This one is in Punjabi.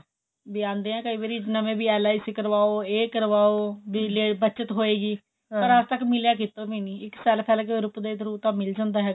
ਵੀ ਆਂਦੇ ਐ ਕਈ ਵਾਰੀ ਨਵੇਂ ਵੀ LIC ਕਰਵਾਓ ਇਹ ਕਰਵਾਓ ਬਿਜਲੀਆ ਦੀ ਬੱਚਤ ਹੋਏਗੀ ਪਰ ਅੱਜ ਤੱਕ ਮਿਲਿਆ ਕੀਤੋ ਵੀ ਨਹੀਂ ਇੱਕ ਸਾਲ ਤਾਂ ਮਿਲ ਜਾਂਦਾ ਹੈਗਾ